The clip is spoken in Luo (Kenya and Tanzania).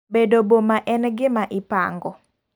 Bedo boma en gima ipango.